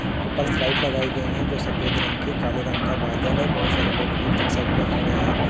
ऊपर लाइट लगायी गयी है जो सफ़ेद रंग की काले रंग का बादल है बहुत सारे लोग नीचे के साइड पे खड़ा है।